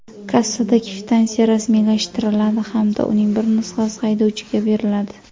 Kassada kvitansiya rasmiylashtiriladi hamda uning bir nusxasi haydovchiga beriladi.